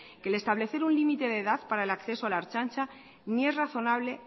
que el establecer un límite de edad para el acceso a la ertzaintza ni es razonable